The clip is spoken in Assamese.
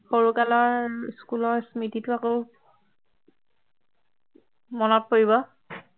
সৰু কালৰ school ৰ স্মৃতিটো আকৌ মনত পৰিব